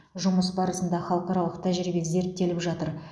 жұмыс барысында халықаралық тәжірибе зерттеліп жатыр